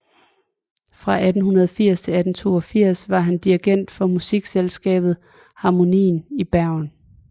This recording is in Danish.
Fra 1880 til 1882 var han dirigent for Musikkselskabet Harmonien i Bergen